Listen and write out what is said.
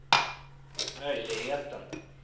möjligheten